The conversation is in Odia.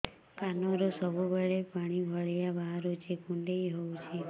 କାନରୁ ସବୁବେଳେ ପାଣି ଭଳିଆ ବାହାରୁଚି କୁଣ୍ଡେଇ ହଉଚି